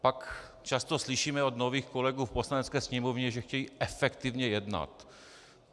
Pak často slyšíme od nových kolegů v Poslanecké sněmovně, že chtějí efektivně jednat.